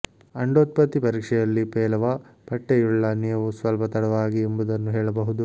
ಅಂಡೋತ್ಪತ್ತಿ ಪರೀಕ್ಷೆಯಲ್ಲಿ ಪೇಲವ ಪಟ್ಟೆಯುಳ್ಳ ನೀವು ಸ್ವಲ್ಪ ತಡವಾಗಿ ಎಂಬುದನ್ನು ಹೇಳಬಹುದು